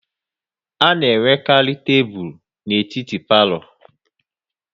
A na enwekarị tebụl etiti n'palo